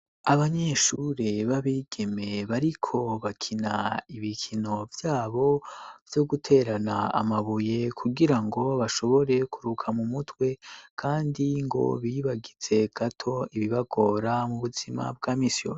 Abanyeshure b'abigeme bariko bakina ibikino vyabo, vyo guterana amabuye kugira ngo bashobore kuruka mu mutwe kandi ngo bibagitse gato ibibagora mu buzima bw'a misi yose.